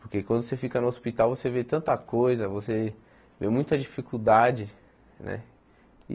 Porque quando você fica no hospital, você vê tanta coisa, você vê muita dificuldade né.